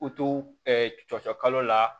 U to ɛɛ cɔcɔ kalo la